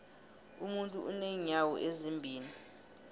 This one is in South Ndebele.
umuntu unenyawo ezimbili